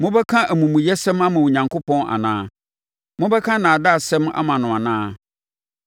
Mobɛka amumuyɛsɛm ama Onyankopɔn anaa? Mobɛka nnaadaasɛm ama no anaa?